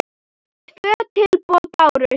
Tvö tilboð bárust.